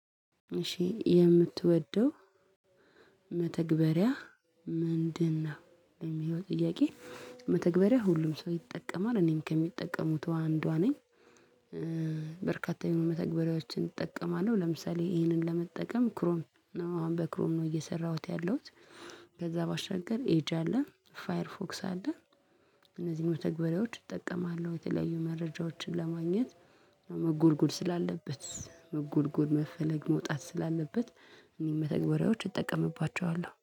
እሺ የምትወደው መተግበሪያ ምንድነው? የሚለው ጥያቄ መተግበሪያ ሁሉም ሰው ይጠቀማል እኔም ከሚጠቀሙት አንዷ ነኝ በርካታ የሆኑ መተግበሪያዎችን እጠቀማለሁ ለምሳሌ ይሄንን ለመጠቀም ክሮም ነው አሁን በክሮም ነው እየሰራሁት ያለሁት ከዛ ባሻገር ኤጂ አለ ፋየር ፎክስ አለ እነዚህን ተግባሬዎች እጠቀማለሁ የተለያዩ መረጃዎችን ለማግኘት መጎርጎር ስላለበት መጎርጎር መፈለግ መውጣት ስላለበት እኔ መተግበሪያዎች እጠቀምባቸዋለሁ።